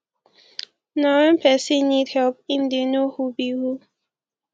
na when persin need help im de know who be who